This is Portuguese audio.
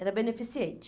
Era beneficente.